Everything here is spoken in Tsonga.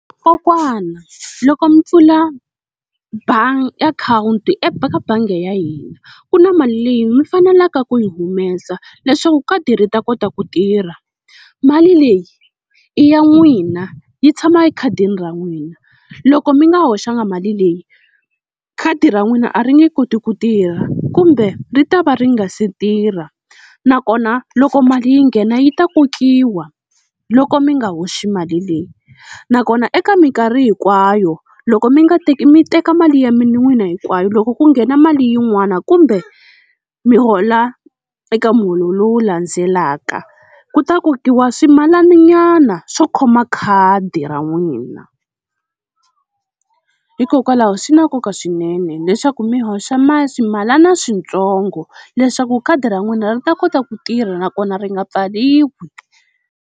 Kokwana loko mi pfula , akhawunti eka bangi ya hina ku na mali leyi mi fanelaka ku yi humesa leswaku khadi ri ta kota ku tirha. Mali leyi i ya n'wina yi tshama ekhadini ra n'wina loko mi nga hoxanga mali leyi khadi ra n'wina a ri nge koti ku tirha kumbe ri ta va ri nga se tirha, nakona loko mali yi nghena yi ta kokiwa loko mi nga hoxi mali leyi. Nakona eka minkarhi hinkwayo loko mi nga teka mi teka mali ya n'wina hinkwayo loko ku nghena mali yin'wani kumbe mi hola eka muholo lowu landzelaka ku ta kokiwa swimalananyana swo khoma khadi ra n'wina. Hikokwalaho swi na nkoka swinene leswaku mi hoxa mali ximalana switsongo leswaku khadi ra n'wina ri ta kota ku tirha nakona ri nga pfaliwi.